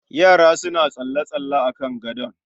Yara suna tsalle-tsalle a kan gadon